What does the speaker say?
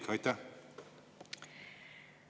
Mis on kolmas isik?